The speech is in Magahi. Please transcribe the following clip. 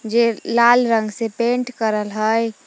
जे लाल रंग से पेंट करल हइ।